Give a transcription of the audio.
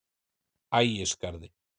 Ægisgarði